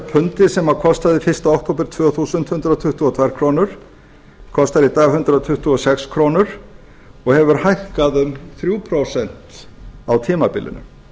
pundið sem kostaði fyrstu okt tvö þúsund hundrað tuttugu og tvær krónur kostar í dag hundrað tuttugu og sex krónur og hefur hækkað um þrjú prósent á tímabilinu